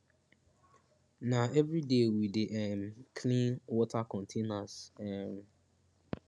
na everyday we dey um clean water containers um